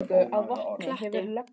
Kletti